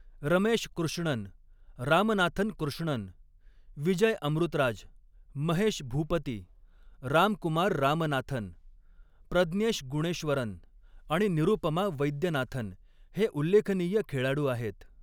रमेश कृष्णन, रामनाथन कृष्णन, विजय अमृतराज, महेश भूपती, रामकुमार रामनाथन, प्रज्ञेश गुणेश्वरन आणि निरुपमा वैद्यनाथन हे उल्लेखनीय खेळाडू आहेत.